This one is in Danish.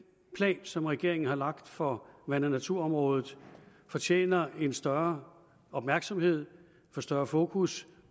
plan som regeringen har lagt for vand og naturområdet fortjener en større opmærksomhed og større fokus